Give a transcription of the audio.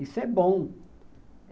Isso é bom.